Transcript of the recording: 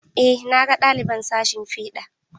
Eh, na ga ɗaliban sashin fiɗa.